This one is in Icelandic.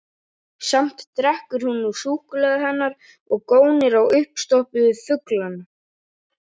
Samt drekkur hún nú súkkulaðið hennar og gónir á uppstoppuðu fuglana.